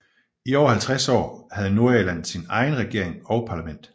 I over 50 år havde Nordirland sin egen regering og parlament